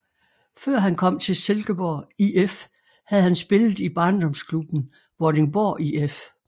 Før han kom til Silkeborg IF havde han spillet i barndomsklubben Vordingborg IF